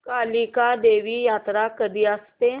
कालिका देवी यात्रा कधी असते